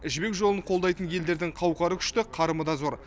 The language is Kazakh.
жібек жолын қолдайтын елдердің қауқары күшті қарымы да зор